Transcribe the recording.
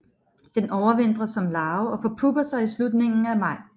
Den overvintrer som larve og forpupper sig i slutningen af maj